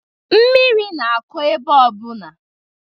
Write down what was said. Mmiri na-akọ ebe ọbụna.